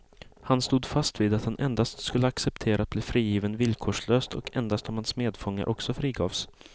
Han stod fast vid att han endast skulle acceptera att bli frigiven villkorslöst och endast om hans medfångar också frigavs.